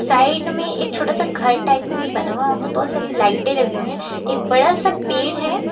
Side में एक छोटा सा घर टाइप में भी बना हुआ वहां पर बहोत सारी लाइटे लगी हुई हैं एक बड़ा सा पेड़ है।